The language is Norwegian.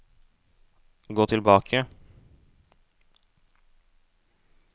gå tilbake